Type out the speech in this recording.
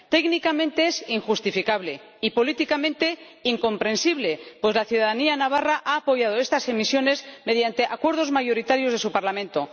Técnicamente es injustificable, y políticamente, incomprensible, pues la ciudadanía navarra ha apoyado estas emisiones mediante acuerdos mayoritarios de su Parlamento.